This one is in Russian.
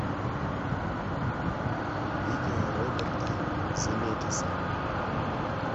видео роберта земекиса